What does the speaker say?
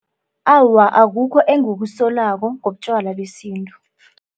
Awa, akukho engikusolako ngotjwala besintu.